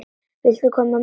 Vildi ég koma með?